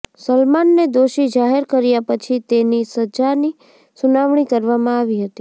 સલમાનને દોષી જાહેર કર્યા પછી તેની સજાની સુનાવણી કરવામાં આવી હતી